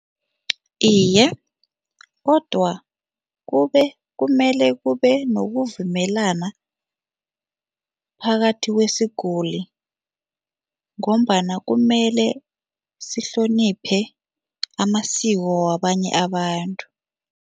Iye, kodwa kumele kube nokuvumelana phakathi kwesiguli ngombana kumele sihloniphe amasiko wabanye abantu.